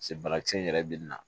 Se banakisɛ in yɛrɛ bɛ nin na